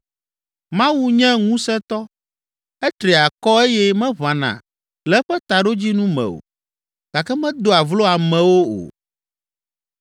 “Mawu nye Ŋusẽtɔ, etri akɔ eye meʋãna le eƒe taɖodzinu me o gake medoa vlo amewo o.